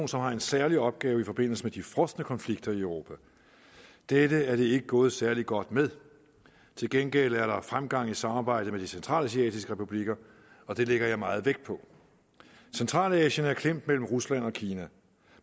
som har en særlig opgave i forbindelse med de frosne konflikter i europa dette er det ikke gået særlig godt med til gengæld er der fremgang i samarbejdet med de centralasiatiske republikker og det lægger jeg meget vægt på centralasien er klemt mellem rusland og kina